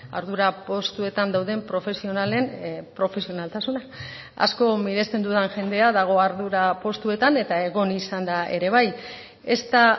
ardura postuetan dauden profesionalen profesionaltasuna asko miresten dudan jendea dago ardura postuetan eta egon izan da ere bai ez da